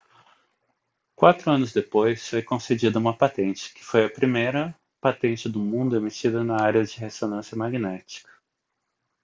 quatro anos depois foi concedida uma patente que foi a primeira patente do mundo emitida na área de ressonância magnética